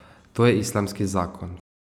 To je islamski zakon.